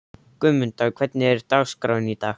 Guðmunda, hvernig er dagskráin í dag?